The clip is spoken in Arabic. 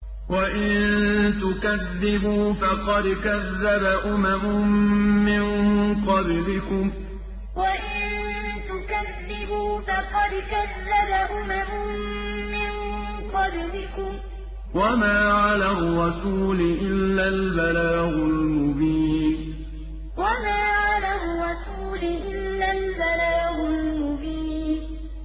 وَإِن تُكَذِّبُوا فَقَدْ كَذَّبَ أُمَمٌ مِّن قَبْلِكُمْ ۖ وَمَا عَلَى الرَّسُولِ إِلَّا الْبَلَاغُ الْمُبِينُ وَإِن تُكَذِّبُوا فَقَدْ كَذَّبَ أُمَمٌ مِّن قَبْلِكُمْ ۖ وَمَا عَلَى الرَّسُولِ إِلَّا الْبَلَاغُ الْمُبِينُ